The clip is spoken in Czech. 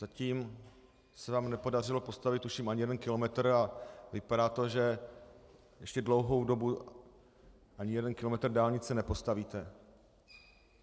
Zatím se vám nepodařilo postavit, tuším, ani jeden kilometr a vypadá to, že ještě dlouhou dobu ani jeden kilometr dálnice nepostavíte.